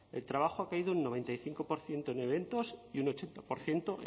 el trabajo ha caído un noventa y cinco por ciento en eventos y un ochenta por ciento